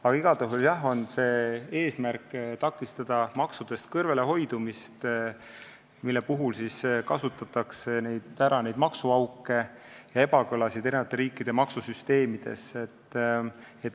Aga igal juhul on eesmärk takistada maksudest kõrvalehoidmist, mille puhul kasutatakse ära maksuauke ja ebakõlasid eri riikide maksusüsteemides.